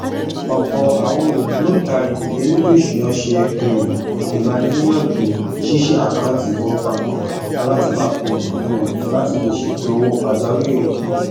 ọpọ àwọn ògbóntarìgì èlétò ìṣúná ṣe um ìgbaniníyànjú ṣíṣí àkántì ìfowópamọ alátìpa kan um láti lè ṣètò owó pàjáwírì